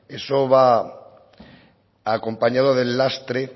eso va acompañado del lastre